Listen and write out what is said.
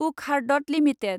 Wockhardt limited